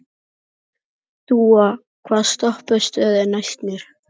Dúa, hvaða stoppistöð er næst mér?